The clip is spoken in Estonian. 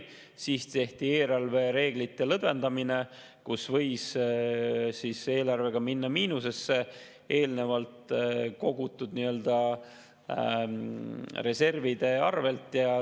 Siis tehti eelarvereeglite lõdvendamine ja võis eelarvega minna miinusesse eelnevalt kogutud reservide arvelt.